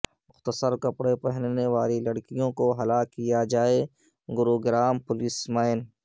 مختصر کپڑے پہننے والی لڑکیوں کو ہلاک کیا جائے گروگرام پولیس مین